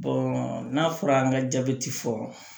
n'a fɔra an ka jabɛti fɔ